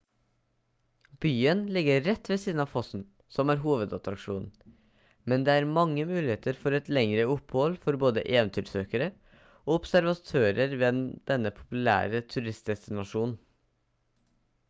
byen ligger rett ved siden av fossen som er hovedattraksjonen men det er mange muligheter for et lengre opphold for både eventyrsøkere og observatører ved denne populære turistdestinasjonen